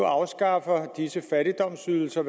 afskaffer disse fattigdomsydelser